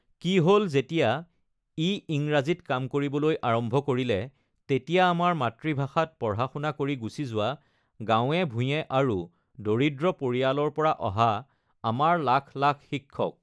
কি হ'ল, যেতিয়া ই ইংৰাজীত কাম কৰিবলৈ আৰম্ভ কৰিলে, তেতিয়া আমাৰ মাতৃভাষাত পঢ়া শুনা কৰি গুচি যোৱা গাঁৱে ভূঞে আৰু দৰিদ্ৰ পৰিয়ালৰ পৰা অহা আমাৰ লাখ লাখ শিক্ষক।